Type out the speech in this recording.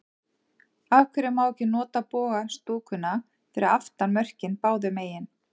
Af hverju má ekki nota boga stúkuna fyrir aftan mörkin báðu megin?